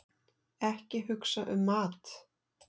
Ekki hugsa um mat!